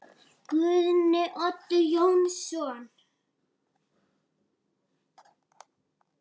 Guðni Oddur Jónsson